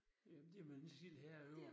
Ja men det man ikke selv herre over